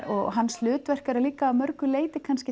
og hans hlutverk er líka að mörgu leyti kannski